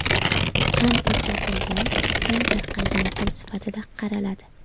Kam o‘rgatilgan, kam tarqalgan til sifatida qaraladi.